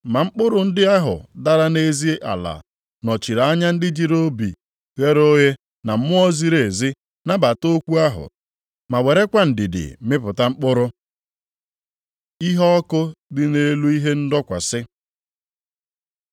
Ma mkpụrụ ndị ahụ dara nʼezi ala nọchiri anya ndị jiri obi ghere oghe na mmụọ ziri ezi nabata okwu ahụ ma werekwa ndidi mịpụta mkpụrụ. Iheọkụ dị nʼelu ihe ndọkwasị